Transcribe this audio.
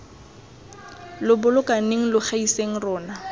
lo bolokaneng lo gaiseng rona